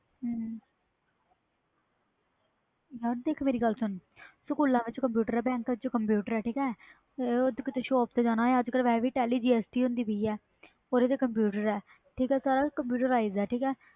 ਯਾਰ ਦੇਖ ਮੇਰੀ ਗੱਲ ਸੁਨ ਸਕੂਲਾਂ ਵਿਚ ਕੰਪਿਊਟਰ ਆ ਕੀਤੇ shop ਤੇ ਜਾਣਾ ਅੱਜ ਕਲ ਵੈਸੇ ਵੀ telly gst ਹੁੰਦੀ ਪਈ ਆ ਓਹਦੇ ਤੇ ਕੰਪਿਊਟਰ ਆ